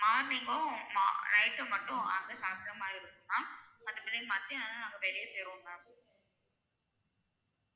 Morning கும் ஆமா night ம் மட்டும் வந்து சாப்பிட்ற மாதிரி இருக்கும் ma'am மத்தப்படி மத்தியானம்ல்லாம் நாங்க வெளிய போயிருவோம் ma'am